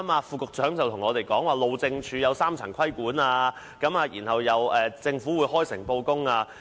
副局長剛剛告訴我們，路政署有3層規管，政府會開誠布公。